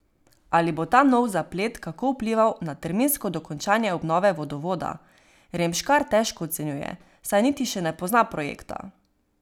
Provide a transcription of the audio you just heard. Ali bo ta nov zaplet kako vplival na terminsko dokončanje obnove vodovoda, Remškar težko ocenjuje, saj niti še ne pozna projekta.